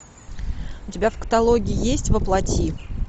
у тебя в каталоге есть во плоти